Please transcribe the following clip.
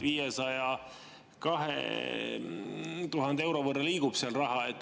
502 000 euro võrra liigub seal raha.